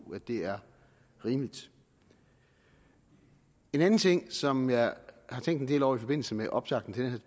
det er rimeligt en anden ting som jeg har tænkt en del over i forbindelse med optakten til